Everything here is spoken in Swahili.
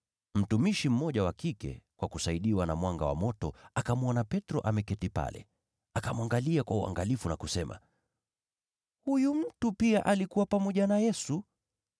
Mtumishi mmoja wa kike akamwona kwa mwanga wa moto akiwa ameketi pale. Akamtazama sana, akasema, “Huyu mtu pia alikuwa pamoja na Yesu!”